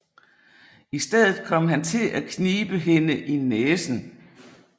I stedet kom han til at knibe hende i næsen